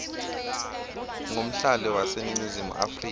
ngumhlali waseningizimu afrika